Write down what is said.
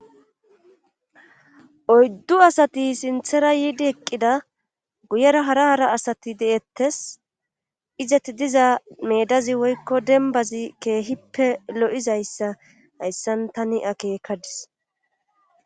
Oyddu asati sinthera yiidi eqqida guyera hara hara asati de7ettes izeti diza medazi woykko denbazi keehippe lo7izayssa hayssan tani akeekadis.